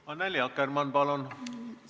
Annely Akkermann, palun!